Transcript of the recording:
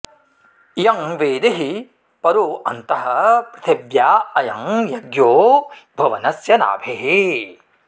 इयं वेदिः परो अन्तः पृथिव्या अयं यज्ञो भुवनस्य नाभिः